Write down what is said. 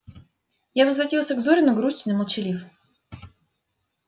я возвратился к зурину грустен и молчалив